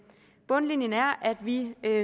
bundlinjen er at vi